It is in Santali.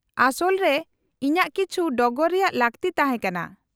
-ᱟᱥᱚᱞ ᱨᱮ ᱤᱧᱟᱹᱜ ᱠᱤᱪᱷᱤ ᱰᱚᱜᱚᱨ ᱨᱮᱭᱟᱜ ᱞᱟᱹᱠᱛᱤ ᱛᱟᱦᱮᱸ ᱠᱟᱱᱟ ᱾